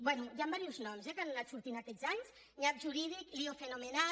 bé hi han diversos noms eh que han anat sortint aquests anys nyap jurídic lío fenomenal